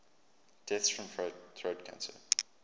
deaths from throat cancer